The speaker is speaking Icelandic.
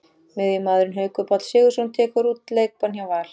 Miðjumaðurinn Haukur Páll Sigurðsson tekur út leikbann hjá Val.